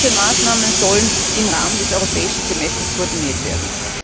Diese Maßnahmen sollen im Rahmen des Europäischen Semesters koordiniert werden.